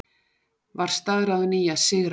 Var staðráðin í að sigra.